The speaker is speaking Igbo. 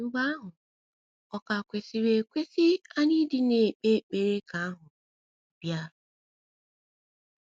* Mgbe ahụ, ọ̀ ka kwesịrị ekwesị anyị ịdị na - ekpe ekpere ka ahụ “ bịa ”?